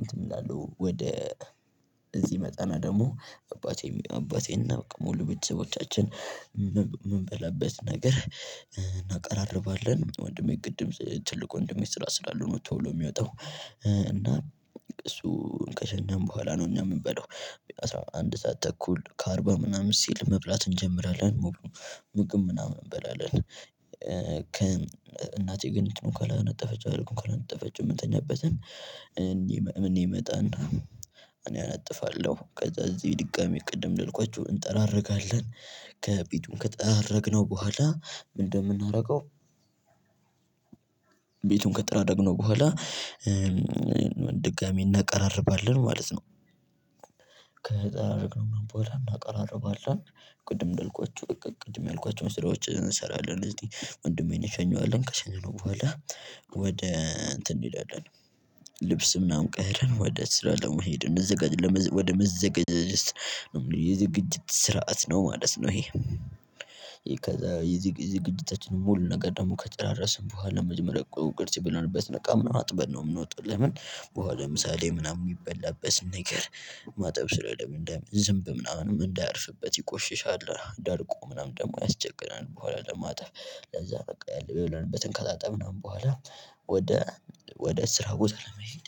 እንትን እንላለው ወደ እዚህ እመጠና ደግሞ አባቴ አባቴና ሙሉ ቤተሰቦቻችን የምንበላበት ነገር እናቀራርባለን። ወንድሜ ግድም ትልቅ ወንድሜ ስራ ስላለው ነው ቶሎ የሚወጣው። እና እሱ ከሸኘን በኋላ ነው እኛ የምንበለው። አስራ አንድ ሰዓት ተኩል ከአርባ ምናምን ሲል መብላት እንጀምራለን። ምግብ ምናምን እንበላለን። እናቴ ግን እንትኑን ካላነጠፈች አልኩኝ ካላነጠፈች የምንኛበተን እኔ እመጣና እኔ አናጥፋለሁ ከዛ እዚህ ድጋሚ ቅድም እንደልኳቹ እንጠራረጋለን። ከቤቱ ከጠራረግነው በኋላ ምን እንደምንደርገው? ቤቱን ከጠራረነው በኋላ ድጋሚ እናቀራርባለን ማለት ነው። እናቀራርባለን ቅድም እንዳልኳቹ በቃ ቅድም ያልኳቹን ስራ እንሰራለን። ወንድሜን እንሸኛዋለን ከሸኘን በኋላ ወደ እንትን እንሄዳለን። ልብስ ምናምን ቀያይረን ወደ ስራ ለመሄድ ወደ መዘገጃጀት ዝግጅት ስርዓት ነው ማለት ነው። ይሄ ከዛ ዝግጅታችንን ሙሉ ነገር ደግሞ ከጨረስን በኋላ መጀመሪያ ቁርስ የበላንበትን እቃ ምናምን አጥበን ነው የምንወጣው። ለምን በኋላ ምሳ ላይ ምናምን የሚበላበት ነገር ማጠብ ስለምንድነው ዝምብ ምናምንም እንዳያርፍበት ይቆሽሻል ደርቆ ምናምን ደግሞ ያስቸግራል። በኋላ ለማጣፍ ለዛ በቃ ያለበትን ከጣጣ ምናምን በኋላ ወደ ወደ ስራ ቦታ ለመሄድ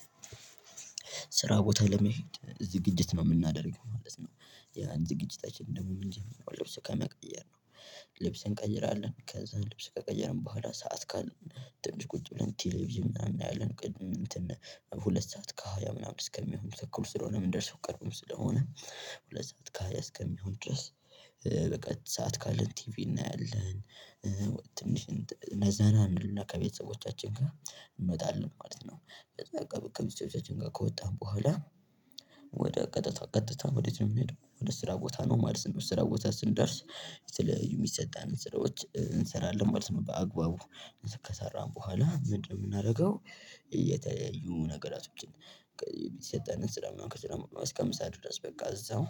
ስራ ቦታ ለመሄድ ዝግጅት ነው የምናደርገው። ያን ዝግጅታችን ደግሞ ልብስ ከመቀየር ነው። ልብስን እንቀይራለን ከዛ ልብስ ከቀየርን በኋላ ሰዓት ካለን ትንሽ ቁጭ ብለን ቴሌቪዥን ምናምን እናያለን። ቅድም እንትን ሁለት ሰዓት ከሃያ ምናምን እስከሚሆን ተኩል ስለሆነ ምንደርሰው ቅርብም ስለሆነ ሁለት ሰዓት ካሃያ እስከሚሆን ድረስ በቃ ሰዓት ካለን ቲቪ እናያለን። ትንሽ ዘና እና ከቤተሰቦቻችን ጋር እንወጣለን ማለት ነው። ከወጣን በኋላ ወደ ቀጥታ ቀጥታ እንዴት ነው የምንሄደው? ወደ ስራ ቦታ ነው ማለት ነው። ስራ ቦታ ስንደርስ የሚሰጣን ስራዎች እንሰራለን ማለት ነው። በአግባቡ ከሰራን በኋላ ምንድነው የምናደርገው? የተለያዩ ነገሮችን የሰጠንን ስራውን እስከምሳድር ድረስ በቃ እዛው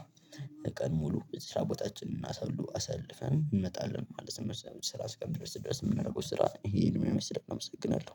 ቀን ሙሉ ስራ ቦታችንን እናሳልፈን እንመጣለን ማለት ነው። ስራ አስቀምጬ ድረስ የምናደርገው ስራ ይሄ ህልም የመሰለ አመሰግናለሁ